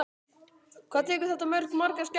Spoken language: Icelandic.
Hvað tekur þetta mörg, margar skepnur?